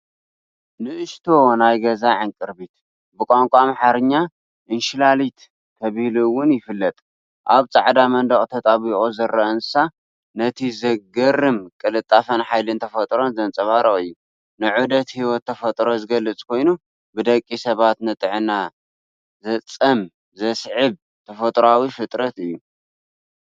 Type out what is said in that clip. ንእሽቶ ናይ ገዛ ዕንቅርቢት፡ ብቋንቋ ኣምሓርኛ "እንሽላሊት" ተባሂሉ'ውን ይፍለጥ። ኣብ ጻዕዳ መንደቕ ተጣቢቑ ዝረአ እንስሳ፡ ነቲ ዘገርም ቅልጣፈን ሓይልን ተፈጥሮ ዘንጸባርቕ እዩ። ንዑደት ህይወት ተፈጥሮ ዝገልጽ ኮይኑ፡ ብደቂ ሰባት ንጥዕና ዘፀም ዘስዕብ ተፈጥሮኣዊ ፍጥረት እዩ።